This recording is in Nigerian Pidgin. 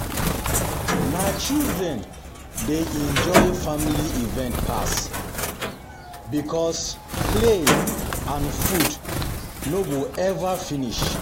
Na children dey enjoy family event pass, because play and food um no go ever um finish.